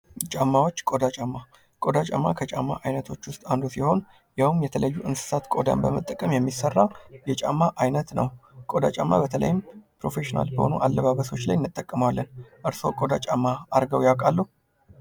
ጫማዎች ቆዳ ጫማ ቆዳ ጫማ ከጫማ አይነቶች ውስጥ አንዱ ሲሆን ያውም የተለያዩ እንሰሳት ቆዳን በመጠቀም የሚሰራ የጫማ አይነት ነው። ቆዳ ጫማ በተለይም ፕሮፌሽናል በሆኑ አለባበሶች ላይ እንጠቀመዋለን። እርስዎ ቆዳ ጫማ አድርገው ያውቃ?